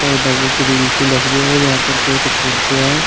Grill सी लग रही है और यहां पे पेड़ पौधे हैं।